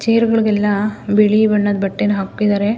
ಚೇರ್ಗಳಿಗೆಲ್ಲ ಬಿಳಿ ಬಣ್ಣದ ಬಟ್ಟೆನ ಹಾಕಿದ್ದಾರೆ.